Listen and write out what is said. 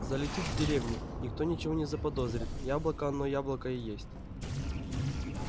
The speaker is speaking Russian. залетит в деревню никто ничего не заподозрит яблоко оно яблоко и есть